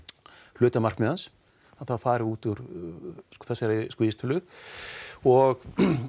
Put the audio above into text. hluti markmiða hans að það fari út úr þessari vísitölu og